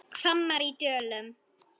HVAMMUR Í DÖLUM